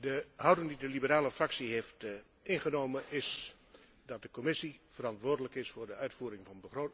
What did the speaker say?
De houding die de liberale fractie heeft ingenomen, is dat de Commissie verantwoordelijk is voor de uitvoering